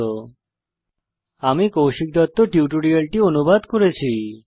http spoken tutorialorgnmeict intro আমি কৌশিক দত্ত টিউটোরিয়ালটি অনুবাদ করেছি